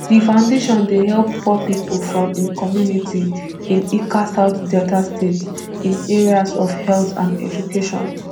di foundation dey help poor pipo from im community in ika south delta state in areas of health and education